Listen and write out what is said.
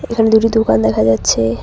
এখানে দুটো দুকান দেখা যাচ্ছে।